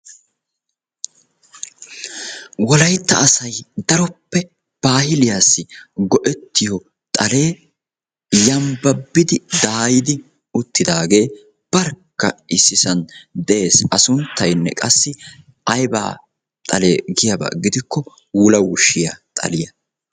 Wolayitta asay daroppe baahiliyassi go'ettiyo xalee yambbabbidi daayidi uttidaagee barkka issisan de'es. A sunttayinne qassi ayibaa xalee giyaba gidikko wulawushshiya xaliya.